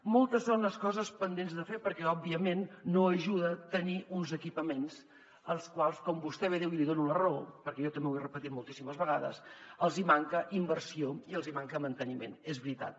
moltes són les coses pendents de fer perquè òbviament no ajuda tenir uns equipaments als quals com vostè bé diu i li dono la raó perquè jo també ho he repetit moltíssimes vegades els hi manca inversió i els hi manca manteniment és veritat